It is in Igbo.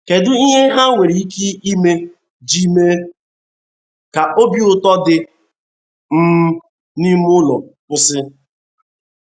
Kedu ihe ha nwere ike ime iji mee ka obi ụtọ dị um n'ime ụlọ kwụsị?